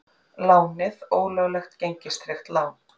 Lánið ólöglegt gengistryggt lán